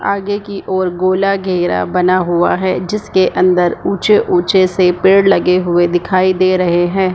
आगे कि और गोला घेरा बना हुआ है जिसके अंदर ऊचे - ऊचे से पेड़ लगे दिखाई दे रहे हैं।